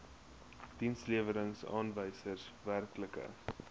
dienslewerings aanwysers werklike